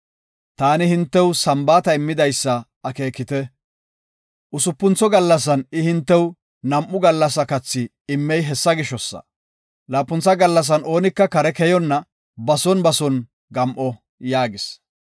Taani hintew Sambaata immidaysa akeekite. Usupuntho gallasan I hintew nam7u gallasa kathi immey hessa gishosa. Laapuntha gallasan oonika kare keyonna ba son ba son gam7o” yaagis.